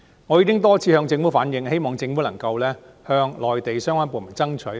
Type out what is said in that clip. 我已經多次向政府反映，希望政府能夠向內地相關部門爭取。